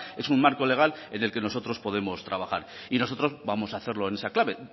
es un marco legal en el que nosotros podemos trabajar y nosotros vamos hacerlo en esa clave